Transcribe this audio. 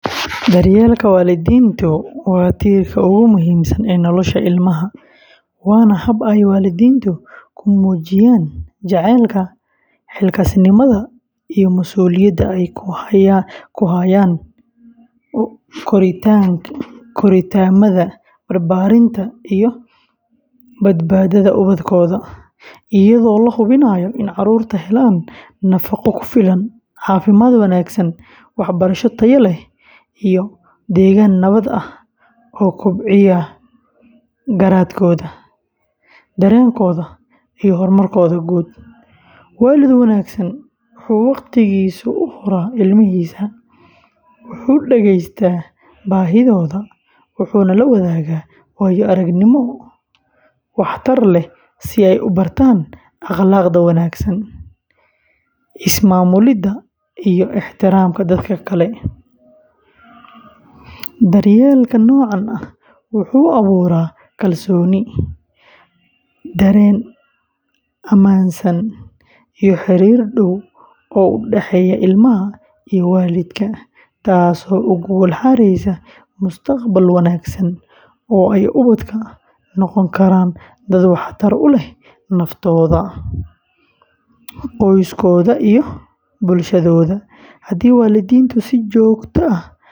Daryeelka waalidiintu waa tiirka ugu muhiimsan ee nolosha ilmaha, waana hab ay waalidiintu ku muujiyaan jacaylka, xilkasnimada, iyo masuuliyadda ay u hayaan korriimada, barbaarinta, iyo badbaadada ubadkooda, iyadoo la hubinayo in carruurtu helaan nafaqo ku filan, caafimaad wanaagsan, waxbarasho tayo leh, iyo degaan nabad ah oo kobcinaya garaadkooda, dareenkooda, iyo horumarkooda guud; waalid wanaagsan wuxuu waqtigiisa u huraa ilmahiisa, wuxuu dhegeystaa baahidooda, wuxuuna la wadaagaa waayo-aragnimooyin wax tar leh si ay u bartaan akhlaaqda wanaagsan, is-maamulidda, iyo ixtiraamka dadka kale; daryeelka noocan ah wuxuu abuuraa kalsooni, dareen ammaansan, iyo xiriir dhow oo u dhexeeya ilmaha iyo waalidka, taasoo u gogol xaareysa mustaqbal wanaagsan oo ay ubadku noqon karaan dad waxtar u leh naftooda, qoysaskooda, iyo bulshadooda; haddii waalidiintu si joogto ah.